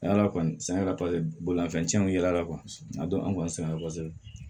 bolimanfɛnw ye ala a dɔn an kɔni sɛgɛn kosɛbɛ